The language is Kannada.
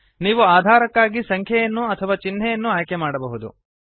ನೀವು ಅಧಾರಕ್ಕಾಗಿ ಸಂಖ್ಯೆಯನ್ನು ಅಥವಾ ಚಿಹ್ನೆಯನ್ನು ಆಯ್ಕೆ ಮಾಡಬಹುದು